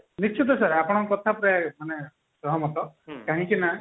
ନିଶ୍ଚିନ୍ତ sir ଆପଣଙ୍କ କଥା ପ୍ରାୟେ ମାନେ ସହମତ କାହିଁକି ନା